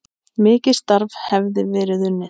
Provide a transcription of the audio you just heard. Mikið starf hefði verið unnið.